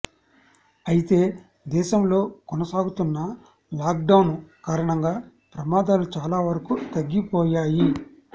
అయితే దేశంలో కొనసాగుతున్న లాక్డౌన్ కారణంగా ప్రమాదాలు చాలా వరకూ తగ్గిపోయాయి